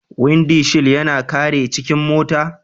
Windi shil yana kare cikin mota.